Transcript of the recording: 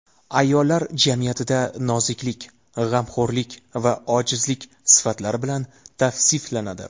Ayollar jamiyatda noziklik, g‘amxo‘rlik va ojizlik sifatlari bilan tavsiflanadi.